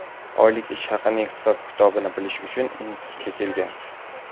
oylik ish haqining hisob-kitobini bilish uchun institutga kelgan.